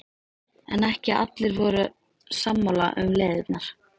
En ekki voru allir sammála um leiðirnar.